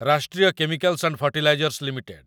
Rashtriya chemicals and fertilizers limited